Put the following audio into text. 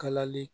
Kalali